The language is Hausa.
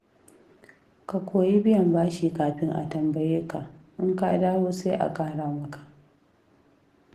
Ka koyi biyan bashi kafin a tambaye ka, in ka dawo sai a ƙara maka.